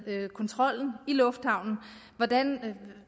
med kontrollen i lufthavnen hvordan